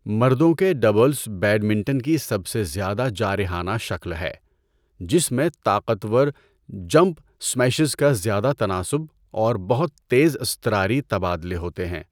مردوں کے doubles badminton کی سب سے زیادہ جارحانہ شکل ہے، جس میں طاقتور جمپ سمیشز کا زیادہ تناسب اور بہت تیز اضطراری تبادلے ہوتے ہے۔